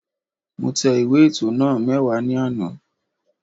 Mo tẹ ìwé ètò náà mẹ́wàá ní àná